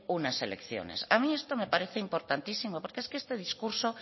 unas elecciones a mí esto me parece importantísimo porque es que este discurso